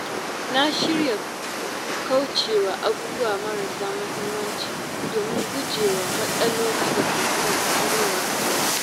Na shirya kaucewa abubuwa marasa muhimmanci domin gujewa matsalolin da kan iya bijirowa a yau.